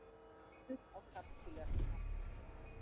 Ráðist á kapítalismann.